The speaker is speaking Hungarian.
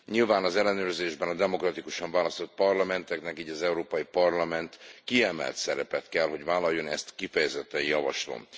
Nyilván az ellenőrzésben a demokratikusan választott parlamenteknek, így az Európai Parlamentnek is kiemelt szerepet kell vállalnia, ezt kifejezetten javaslom.